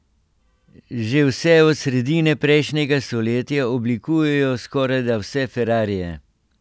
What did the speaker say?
Že vse od sredine prejšnjega stoletja oblikujejo skorajda vse ferrarije.